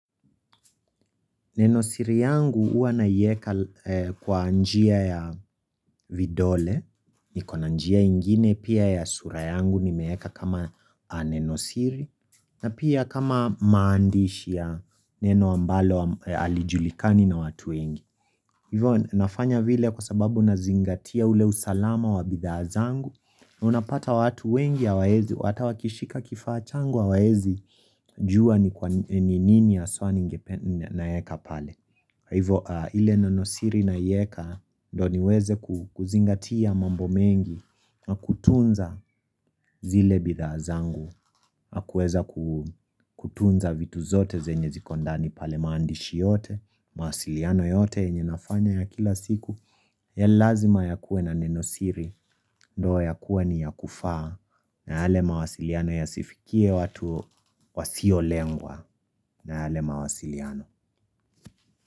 Nenosiri yangu uwa naiweka kwa njia ya vidole, niko na njia ingine pia ya sura yangu nimeeka kama nenosiri, na pia kama maandishi ya neno ambalo alijulikani na watu wengi. Ivo nafanya vile kwa sababu na zingatia ule usalama wa bidhazangu na unapata watu wengi ya hawezi, hata wakishika kifaa changu hawezi jua ni nini ya haswa naiweka pale Ivo ile nenosiri naiweka ndo niweze kuzingatia mambo mengi na kutunza zile bidhaa zangu na kutunza vitu zote zenye ziko ndani pale maandishi yote mawasiliano yote yenye nafanya ya kila siku ya lazima ya kuwe na nenosiri ndo ya kuwe ni ya kufaa na yale mawasiliano yasifikie watu wasio lengwa na yale mawasiliano.